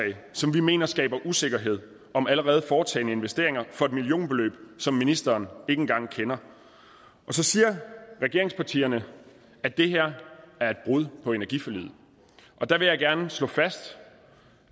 som vi mener skaber usikkerhed om allerede foretagne investeringer for et millionbeløb som ministeren ikke engang kender så siger regeringspartierne at det her er et brud på energiforliget der vil jeg gerne slå fast